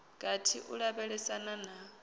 gathi ha u lavhelesana na